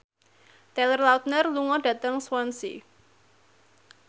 Taylor Lautner lunga dhateng Swansea